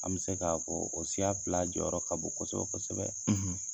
An bɛ se k'a ko fɔ o siya fila jɔyɔrɔ ka bon kosɛbɛ kosɛbɛ.